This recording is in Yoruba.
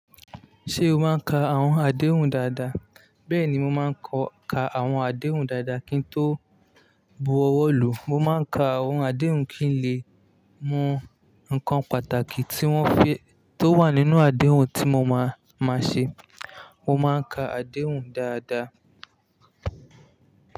Ṣé o máa ń ka àwọn àdéhùn dáadáa? Bẹ́ẹ̀ni, mo máa ń ka àwọn àdéhùn dáadáa kí n tó bu ọwọ́ lò. Mo máa ń ka àwọn àdéhùn kí n lè mọ ǹkan pàtàkì tí wọ́n fi tó wà nínú àdéhùn tí mo máa máa ṣe. Mo máa ń ka àdéhùn dáadáa.